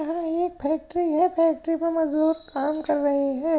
यह एक फैक्ट्री है। फैक्ट्री पर मजदूर काम कर रहे है।